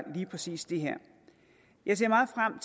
lige præcis det her jeg ser meget frem